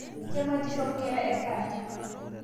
Kematisho nkera etaata